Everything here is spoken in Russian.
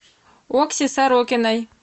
окси сорокиной